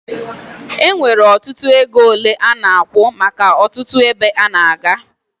Enwere ọtụtụ ego ole ana akwụ maka ọtụtụ ebe a na-aga